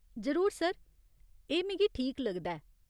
जरूर सर। एह् मिगी ठीक लगदा ऐ।